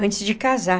Antes de casar.